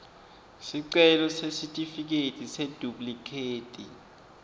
sicelo sesitifiketi seduplikhethi